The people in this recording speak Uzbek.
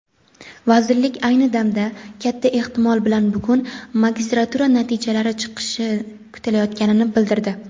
Vazirlik ayni damda (katta ehtimol bilan bugun) magistratura natijalari chiqishi kutilayotganini bildirdi.